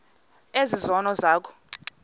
ezi zono zakho